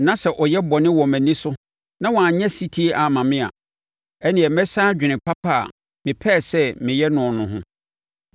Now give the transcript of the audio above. na sɛ ɔyɛ bɔne wɔ mʼani so na wanyɛ ɔsetie amma me a, ɛnneɛ mesane adwene papa a mepɛɛ sɛ meyɛ noɔ no ho.